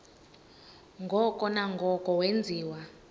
ngoko nangoko wenziwa